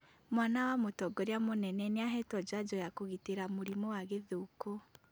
Mwana wa mũtongoria mũnene nĩahetwo njajo ya kũgitĩra mũrimũ wa gĩthũkũ